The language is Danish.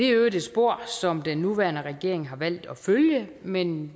i øvrigt et spor som den nuværende regering har valgt at følge men